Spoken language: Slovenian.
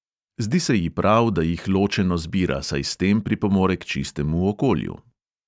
Zdi se ji prav, da jih ločeno zbira, saj s tem pripomore k čistemu okolju.